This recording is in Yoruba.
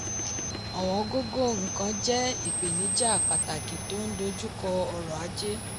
ọ̀wọ́n gógó nkan jẹ́ ipenija pàtàkì tó n dojú kọ ọrọ̀ ajé.